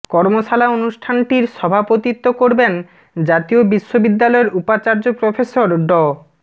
কর্মশালা অনুষ্ঠানটির সভাপতিত্ব করবেন জাতীয় বিশ্ববিদ্যালয়ের উপাচার্য প্রফেসর ড